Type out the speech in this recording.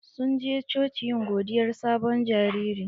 Sun je coci yin godiyar sabon jariri.